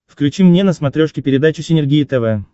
включи мне на смотрешке передачу синергия тв